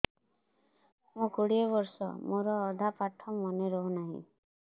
ମୋ କୋଡ଼ିଏ ବର୍ଷ ମୋର ଅଧା ପାଠ ମନେ ରହୁନାହିଁ